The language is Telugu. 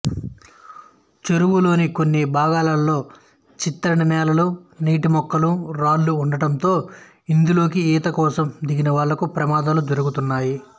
చెరువులోని కొన్ని భాగాలలో చిత్తడినేలలు నీటి మొక్కలు రాళ్ళు ఉండడంతో ఇందులోకి ఈతకోసం దిగిన వాళ్ళకు ప్రమదాలు జరుగుతున్నాయి